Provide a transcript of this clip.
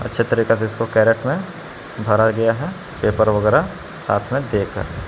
अच्छे तरीकों से इसको कैरेट में भर गया है ऊपर पेपर वगैरा साथ में देकर।